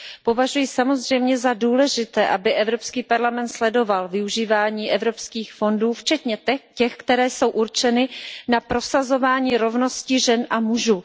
Považuji samozřejmě za důležité, aby Evropský parlament sledoval využívání evropských fondů včetně těch, které jsou určeny na prosazování rovnosti žen a mužů.